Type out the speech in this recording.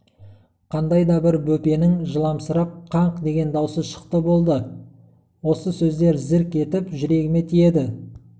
қандай да бір бөпенің жыламсырап қынқ деген даусы шықты болды осы сөздер зірк етіп жүрегіме тиеді